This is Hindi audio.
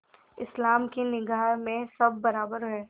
इस्लाम की निगाह में सब बराबर हैं